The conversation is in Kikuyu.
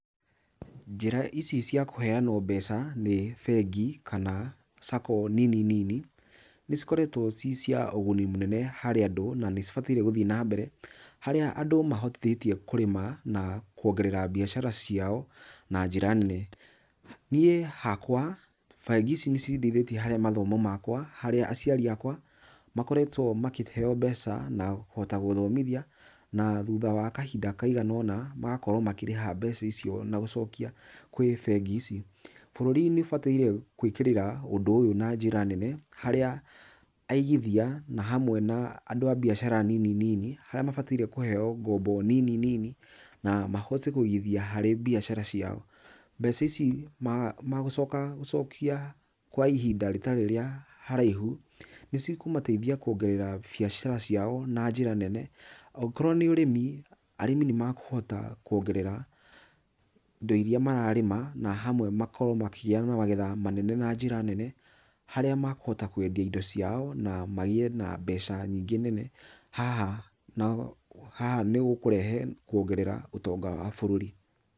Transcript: Njĩra ici cia kũheanwo mbeca nĩ bengi kana sacco nini nini, ni cikoretwo ci cia ũguni mũnene harĩ andũ, na nĩcibataire gũthiĩ nambere, harĩa andũ mahotithĩtio kũrĩma na kuongerera biacara ciao, na njĩra nene. Niĩ hakwa, bengi ici nĩcindeithĩtie harĩ mathomo makwa, harĩa aciari akwa makoretwo makĩheo mbeca na kũhota gũthomithia, na thutha wa kahinda kaigana ũna, magakorwo makĩrĩha mbeca icio na gũcokia kwĩ bengi ici. Bũrũri nĩũbataire gwĩkĩrĩra ũndũ ũyũ na njĩra nene, harĩa aigithia, na hamwe na andũ a biacara nini nini, harĩa mabataire kũheo ngombo nini nini, na mahote kũigithia harĩ biacara ciao. Mbeca ici magũcoka gũcokia kwa ihinda rĩtarĩ rĩa haraihu, nĩ cikũmateithia kuongerera biacara ciao na njĩra nene. Okorwo nĩ ũrĩmi, arĩmi nĩmakũhota kuongerera indo iria mararĩma, na hamwe makoo makĩgĩa na magetha manene na njĩra nene, harĩa makũhota kwendia indo ciao, na magĩe na mbeca nyingĩ mũno, haha nĩgũkũrehe kuongerera ũtonga wa bũrũri.